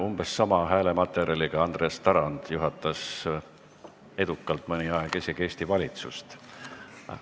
Umbes samasuguse häälematerjaliga Andres Tarand juhtis mõnda aega edukalt isegi Eesti valitsust.